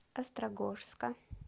острогожска